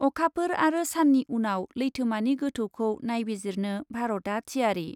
अखाफोर आरो साननि उनाव लैथोमानि गोथौखौ नायबिजिरनो भारतआ थियारि।